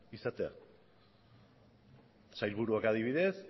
izatea sailburuak adibidez